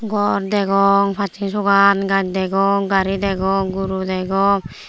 gor degong passen sogan gaj degong gari degong guru degong.